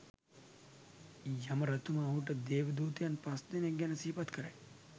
යම රජතුමා ඔහුට දේවදූතයන් පස්දෙනෙක් ගැන සිහිපත් කරයි.